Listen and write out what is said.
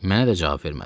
Mənə də cavab vermədi.